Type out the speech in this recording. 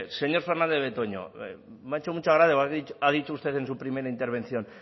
señor fernandez de betoño me ha hecho mucha gracia cuando ha dicho usted en su primera intervención